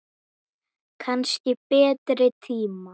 Kannski betri tíma.